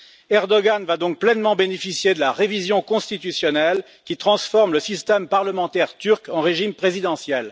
Erdoğan va donc pleinement bénéficier de la révision constitutionnelle qui transforme le système parlementaire turc en régime présidentiel.